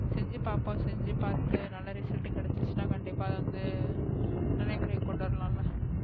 செஞ்சு பாப்போம் செஞ்சு பாத்து நல்லா ரிசல்ட் கிடசுச்ன கண்டிப்பா அத வந்து நடைமுறைக்கு' கொண்டு வரலாம்ல,